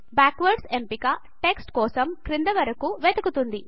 backwards ఎంపిక text కోసం కింది నుండి వరకు వెతుకుతుంది